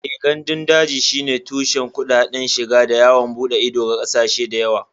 Eh, gandun daji shine tushen kuɗaɗen shiga da yawon bude ido ga ƙasashe da yawa